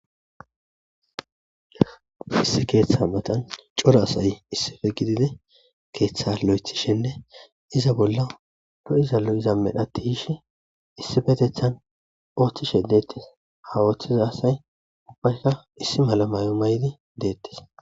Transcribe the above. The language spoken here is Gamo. Issi keeththa matan coro asay issippe gididi keeththa lo7ethishenne iza bolla lo7iza lo7iza medha ti7ishe issippetethan ooththishe deettees. Ha ooththiza asay ubbayka issi mala mayo maydi deettees.